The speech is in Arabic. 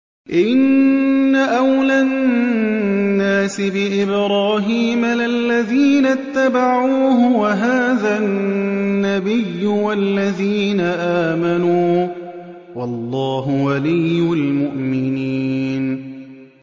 إِنَّ أَوْلَى النَّاسِ بِإِبْرَاهِيمَ لَلَّذِينَ اتَّبَعُوهُ وَهَٰذَا النَّبِيُّ وَالَّذِينَ آمَنُوا ۗ وَاللَّهُ وَلِيُّ الْمُؤْمِنِينَ